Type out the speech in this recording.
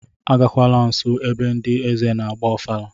Agakwala nso ebe ndị eze na-agba ofala!